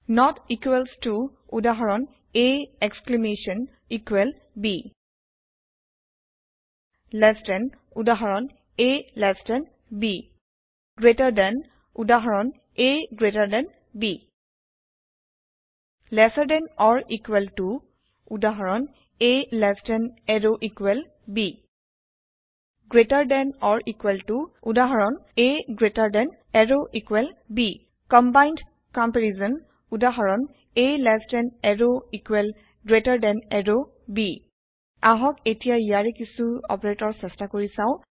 not equals to উদাহৰণ a exclamation equal b less than উদাহৰণ a b greater than উদাহৰণ a b lesser than or equal to উদাহৰণ a less than arrow equal b greater than or equal to উদাহৰণ a greater than arrow equal b combined comparison উদাহৰণ a less than arrow equal greater than arrow b আহক এতিয়া ইয়াৰে কিছু operator চেষ্টা কৰি চাওঁ